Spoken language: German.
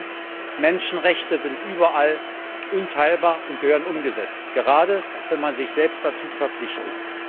Zweitens Menschenrechte sind überall unteilbar und gehören umgesetzt, gerade wenn man sich selbst dazu verpflichtet.